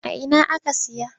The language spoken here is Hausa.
A ina aka saya?